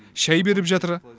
шай беріп жатыр